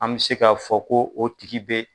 An bɛ se k'a fɔ ko o tigi bɛ